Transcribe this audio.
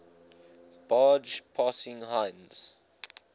barge passing heinz